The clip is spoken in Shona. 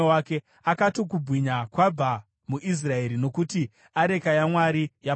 Akati, “Kubwinya kwabva muIsraeri, nokuti areka yaMwari yapambwa.”